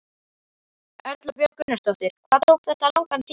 Erla Björg Gunnarsdóttir: Hvað tók þetta langan tíma?